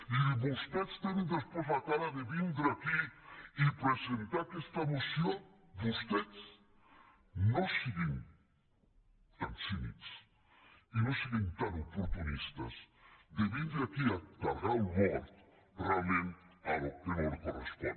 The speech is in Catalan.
i vostès tenen després la cara de vindre aquí i presentar aquesta moció vostès no siguin tan cínics i no siguin tan oportunistes de vindre aquí a carregar el mort realment al qui no li correspon